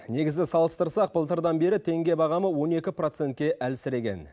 негізі салыстырсақ былтырдан бері теңге бағамы он екі процентке әлсіреген